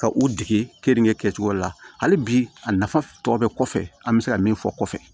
Ka u dege keninke kɛcogo la hali bi a nafa tɔ bɛ kɔfɛ an bɛ se ka min fɔ kɔfɛ